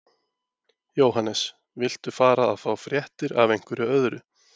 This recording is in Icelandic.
Jóhannes: Viltu fara að fá fréttir af einhverju öðru?